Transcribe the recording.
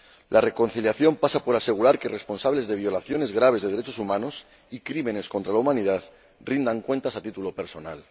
La reconciliación pasa por asegurar que los responsables de violaciones graves de los derechos humanos y de crímenes contra la humanidad rindan cuentas a título personal.